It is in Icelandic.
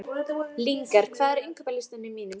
Lyngar, hvað er á innkaupalistanum mínum?